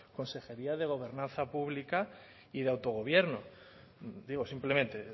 consejería de gobernanza pública y de autogobierno digo simplemente